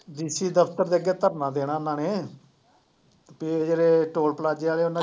DC ਦਫ਼ਤਰ ਦੇ ਅੱਗੇ ਧਰਨਾ ਦੇਣਾ ਇਹਨਾਂ ਨੇ ਤੇ ਜਿਹੜੇ ਟੋਲ ਪਲਾਜੇ ਵਾਲੇ ਉਹਨਾਂ